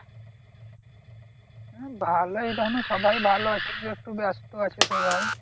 ভালোই দেখো না সবাই ভালো আছে কিন্তু একটু ব্যাস্ত আছে সবাই